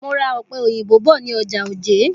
Mo ra òpe òyìnbó bọ̀ ní ọjà Òjé.